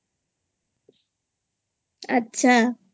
আচ্ছা